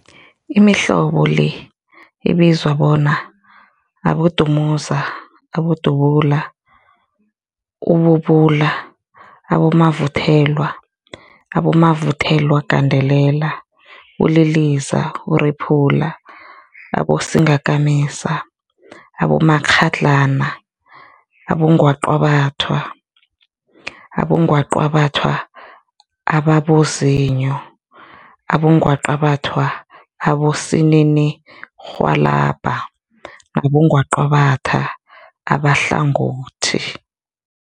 Imihlobo le ibizwa bona, abodumuza, abodubula, ububula, abomavuthelwa, abomavuthelwagandelela, uliliza, urephula, abosingakamisa, abomakghadlana, abongwaqabathwa, abongwaqabathwa ababozinyo, abongwaqabathwa abosininirhwalabha nabongwaqabatha abahlangothi.